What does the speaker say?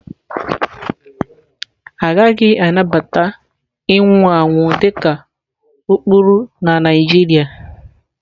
Agaghị anabata ịnwụ anwụ dị ka ụkpụrụ na Naijiria.